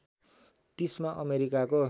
३० मा अमेरिकाको